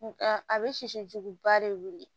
Nka a bɛ sisi juguba de wuli